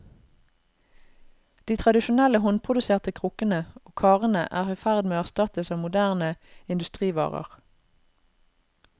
De tradisjonelle håndproduserte krukkene og karene er i ferd med å erstattes av moderne industrivarer.